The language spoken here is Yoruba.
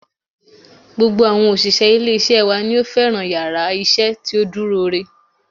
Gbogbo àwọn òṣìṣẹ́ ilé isé wa ni ó fẹ́ràn yàrá isé tí ó dúró re